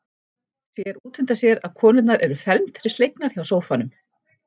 Sér útundan sér að konurnar eru felmtri slegnar hjá sófanum.